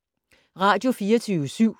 Radio24syv